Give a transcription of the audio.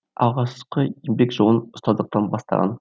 алғашқы еңбек жолын ұстаздықтан бастаған